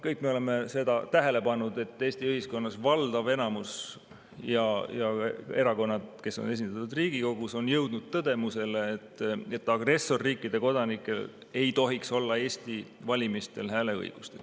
Kõik me oleme tähele pannud, et Eesti ühiskonnas on valdav enamus ja erakonnad, kes on esindatud Riigikogus, jõudnud tõdemusele, et agressorriikide kodanikel ei tohiks olla Eesti valimistel hääleõigust.